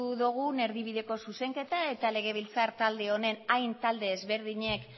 dugun erdibideko zuzenketa eta legebiltzar talde honen hain talde ezberdinek